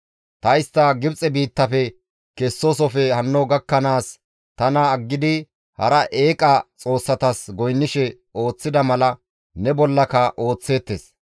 Ta istta Gibxe biittafe kesoosofe hanno gakkanaas tana aggidi hara eeqa xoossatas goynnishe ooththida mala ne bollaka ooththeettes.